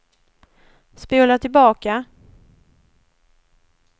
spola tillbaka